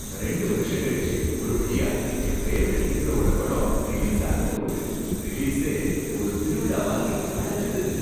ரெண்டு வருஷம் கழிச்சு ஒரு வழியா என் பேவரைட் ஹீரோவோட படம் ரிலீஸ் ஆகப் போகுது, ரிலீசே ஒரு திருவிழா மாதிரி களகட்டுது.